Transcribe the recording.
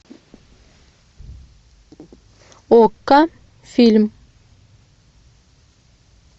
окко фильм